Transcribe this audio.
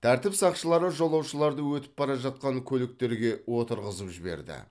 тәртіп сақшылары жолаушыларды өтіп бара жатқан көліктерге отырғызып жіберді